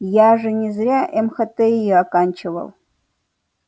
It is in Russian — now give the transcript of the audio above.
я же не зря мхти оканчивал